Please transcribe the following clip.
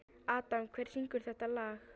Adam, hver syngur þetta lag?